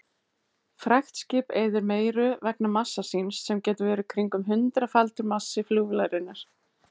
Fraktskip eyðir meiru vegna massa síns sem getur verið kringum hundraðfaldur massi flugvélarinnar.